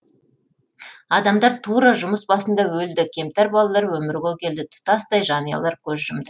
адамдар тура жұмыс басында өлді кемтар балалар өмірге келді тұтастай жанұялар көз жұмды